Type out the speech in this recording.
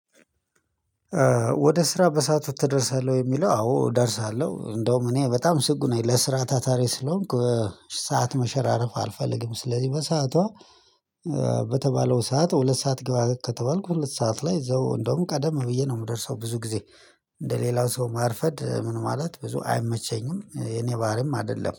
ወደ ስራ በሰአቱ ትደርሳለህ? የሚለው አዎ እደርሳለሁ እንደውም እኔ በጣም ስጉ ነኝ ለስራ ታታሪ ስለሆንኩ ሰዓት መሸራረፍ አልፈልግም ስለዚህ በሰዓቷ በተባለው ሰዓት ሁለት ሰዓት ግባ ከተባልኩ ሁለት ሰዓት ላይ እንደውም ቀደም ብዬ ነው የምደርሰው ብዙ ጊዜ እንደ ሌላው ሰው ማርፈድ ምን ማለት ብዙ አይመቸኝም የኔ ባህሪም አይደለም